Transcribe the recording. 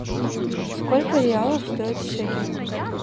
сколько реалов стоит шекель